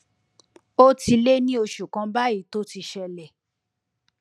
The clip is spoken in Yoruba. ó ti lé ní oṣù kan báyìí tó ti ṣẹlẹ